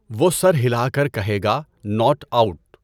وہ سر ہلا کر کہے گا 'ناٹ آؤٹ'۔